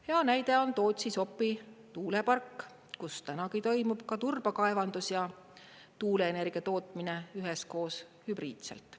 Hea näide on Sopi-Tootsi tuulepark, kus tänagi toimub ka turbakaevandus ja tuuleenergia tootmine üheskoos hübriidselt.